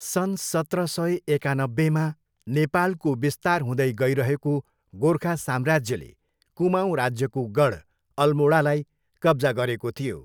सन् सत्र सय एकानब्बेमा नेपालको विस्तार हुँदै गइरहेको गोर्खा साम्राज्यले कुमाऊँ राज्यको गढ अल्मोडालाई कब्जा गरेको थियो।